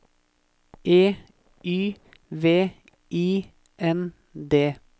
E Y V I N D